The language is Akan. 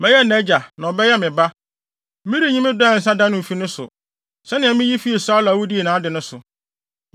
Mɛyɛ nʼagya na ɔbɛyɛ me ba. Merenyi me dɔ a ɛnsa da no mfi ne so, sɛnea miyi fii Saulo a wudii nʼade so no.